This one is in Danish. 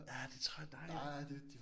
Ja det tror jeg bare ikke